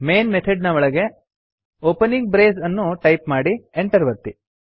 main method ನ ಒಳಗೆ opening brace ಅನ್ನು ಟೈಪ್ ಮಾಡಿ Enter ಒತ್ತಿ